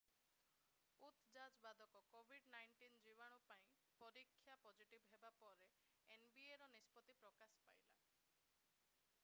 ଉତ Jazz ବାଦକ covid-19 ଜୀବାଣୁ ପାଇଁ ପରୀକ୍ଷା ପଜିଟିଭ୍ ହେବା ପରେ ପରେ nbaର ନିଷ୍ପତ୍ତି ପ୍ରକାଶ ପାଇଲା।